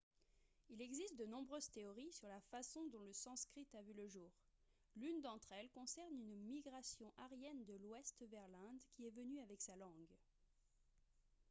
il existe de nombreuses théories sur la façon dont le sanskrit a vu le jour l'une d'entre elles concerne une migration aryenne de l'ouest vers l'inde qui est venue avec sa langue